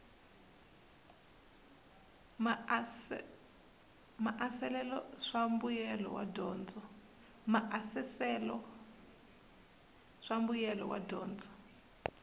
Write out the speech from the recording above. maasesele swa mbuyelo wa dyondzo